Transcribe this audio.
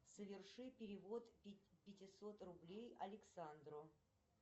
соверши перевод пятисот рублей александру